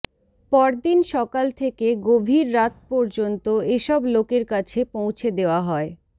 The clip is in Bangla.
পরদিন সকাল থেকে গভীর রাত পর্যন্ত এসব লোকের কাছে পৌঁছে দেওয়া হয়